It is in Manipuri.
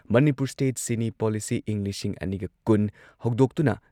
ꯃꯅꯤꯄꯨꯔ ꯁ꯭ꯇꯦꯠ ꯁꯤꯅꯤ ꯄꯣꯂꯤꯁꯤ ꯢꯪ ꯂꯤꯁꯤꯡ ꯑꯅꯤꯒ ꯀꯨꯟ ꯍꯧꯗꯣꯛꯇꯨꯅ